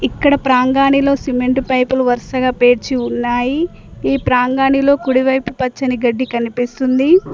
ఇక్కడ ప్రాంగాణిలో cement pipe లు వరసగా పేర్చి ఉన్నాయి ఈ ప్రాంగాణిలో కుడి వైపు పచ్చని గడ్డి కనిపిస్తుంది.